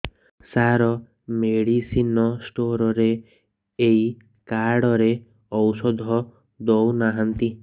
ସାର medicine store ରେ ଏଇ card ରେ ଔଷଧ ଦଉନାହାନ୍ତି